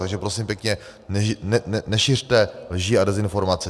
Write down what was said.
Takže prosím pěkně, nešiřte lži a dezinformace.